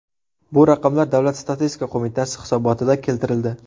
Bu raqamlar Davlat statistika qo‘mitasi hisobotida keltirildi.